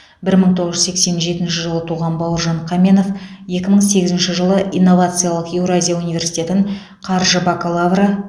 бір мың тоғыз жүз сексен жетінші жылы туған бауыржан қаменов екі мың сегізінші жылы инновациялық еуразия университетін қаржы бакалавры